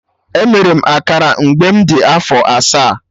Emere m akara mgbe m dị afọ asaa